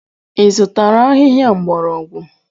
Ị zụtara ahịhịa mgbọrọgwụ?